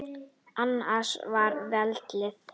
Hans er valið.